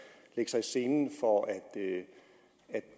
lægge sig i selen for at